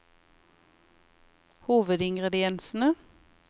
hovedingrediensene